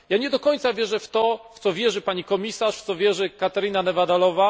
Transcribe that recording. Nie do końca wierzę w to, w co wierzy pani komisarz, w co wierzy Katarina Neveďalová.